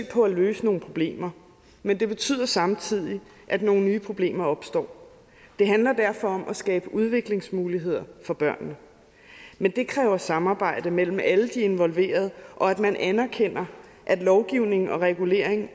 på at løse nogle problemer men det betyder samtidig at nogle nye problemer opstår det handler derfor om at skabe udviklingsmuligheder for børnene men det kræver samarbejde mellem alle de involverede og at man anerkender at lovgivning og regulering